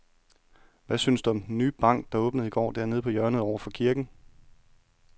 Hvad synes du om den nye bank, der åbnede i går dernede på hjørnet over for kirken?